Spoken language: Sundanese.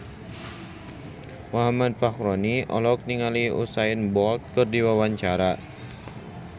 Muhammad Fachroni olohok ningali Usain Bolt keur diwawancara